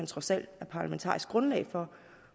trods alt er parlamentarisk grundlag for